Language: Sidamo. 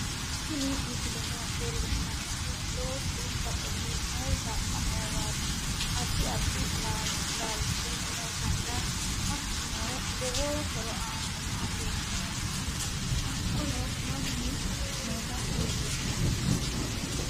Tiini miisleno lelshannohu loosu baaxili noonsa ammuwati addi addi laalch nootana haakunoo loowo hooro aanota lelshanno haakono maanuu noota lelshanno.